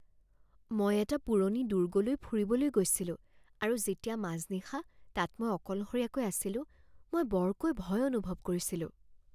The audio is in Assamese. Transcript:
মই এটা পুৰণি দুৰ্গলৈ ফুৰিবলৈ গৈছিলোঁ আৰু যেতিয়া মাজনিশা তাত মই অকলশৰীয়াকৈ আছিলো, মই বৰকৈ ভয় অনুভৱ কৰিছিলোঁ।